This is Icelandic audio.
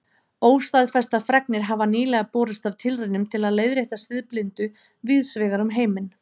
Óstaðfestar fregnir hafa nýlega borist af tilraunum til að leiðrétta siðblindu víðs vegar um heiminn.